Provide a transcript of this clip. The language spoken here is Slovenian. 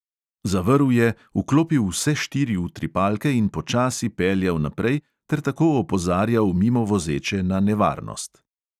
Zavrl je, vklopil vse štiri utripalke in počasi peljal naprej ter tako opozarjal mimovozeče na nevarnost.